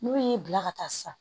N'u y'i bila ka taa sisan